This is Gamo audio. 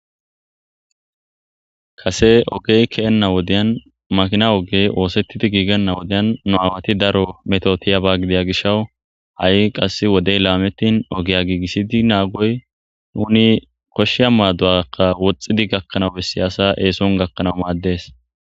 Kase ogey keenna wodeyan makina ogey oosettidi giigenna wodeyan nu aawati daro meto tiyaba gidiya gishawu ha'i qass wodey laametin ogeya giigissidi naagoy nuni koshsheya maaduwakka woxxidi gakkanawu bessi asa eeson gakkanaw maaddes.